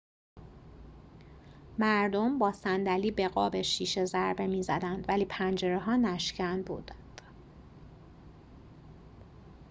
مردم با صندلی به قاب شیشه ضربه می‌زدند ولی پنجره‌ها نشکن بودند